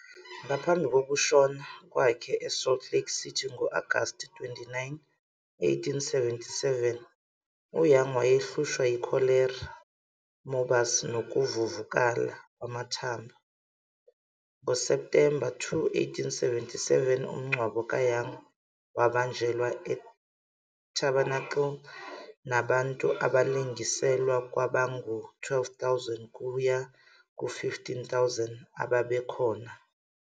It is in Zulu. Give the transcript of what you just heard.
Ngaphambi kokushona kwakhe eSalt Lake City ngo-Agasti 29, 1877, uYoung wayehlushwa yikholera morbus nokuvuvukala kwamathumbu. NgoSepthemba 2, 1877, umngcwabo kaYoung wabanjelwa eTabernakele nabantu abalinganiselwa kwabangu-12 000 kuya ku-15,000 ababekhona.